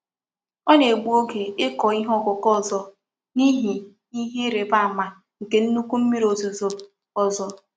Ọ na-egbu oge ịkọ ihe ọkụkụ ọzọ n'ihi ihe ịrịba ama nke nnukwu mmiri ozuzo ọzọ.